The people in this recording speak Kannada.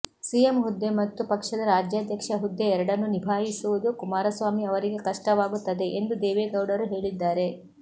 ಸಿಎಂ ಹುದ್ದೆ ಮತ್ತು ಪಕ್ಷದ ರಾಜ್ಯಾಧ್ಯಕ್ಷ ಹುದ್ದೆ ಎರಡನ್ನೂ ನಿಭಾಯಿಸುವುದು ಕುಮಾರಸ್ವಾಮಿ ಅವರಿಗೆ ಕಷ್ಟವಾಗುತ್ತದೆ ಎಂದು ದೇವೆಗೌಡರು ಹೇಳಿದ್ದಾರೆ